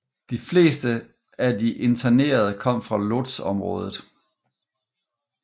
De fleste af de internerede kom fra Łódźområdet